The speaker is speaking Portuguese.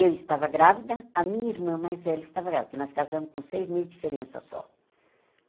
Eu estava grávida, a minha irmã mais velha estava grávida, porque nós casamos com seis meses de diferença só.